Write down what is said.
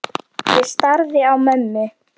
Ég starði á mömmu.